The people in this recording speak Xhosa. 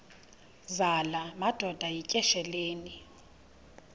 zala madoda yityesheleni